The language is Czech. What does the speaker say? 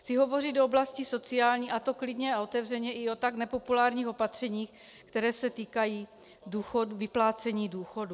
Chci hovořit o oblasti sociální, a to klidně a otevřeně i o tak nepopulárních opatřeních, která se týkají vyplácení důchodů.